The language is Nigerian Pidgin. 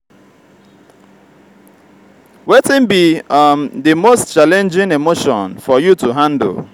wetin be um di most challenging emotion for you to handle?